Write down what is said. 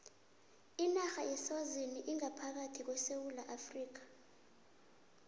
inarha yeswazini ingaphakathi kwesewula afrika